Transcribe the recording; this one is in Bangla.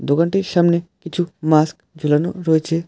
দোকানটির সামনে কিছু মাস্ক ঝুলানো রয়েছে।